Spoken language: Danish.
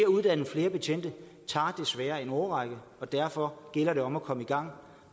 uddanne flere betjente tager desværre en årrække og derfor gælder det om at komme i gang